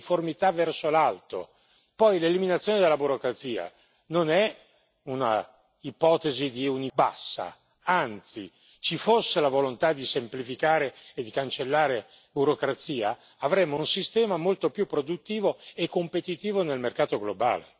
Li considero processi di uniformità verso l'alto, poi l'eliminazione della burocrazia non è un'ipotesi di uniformità bassa, anzi ci fosse la volontà di semplificare e di cancellare burocrazia, avremmo un sistema molto più produttivo e competitivo nel mercato globale.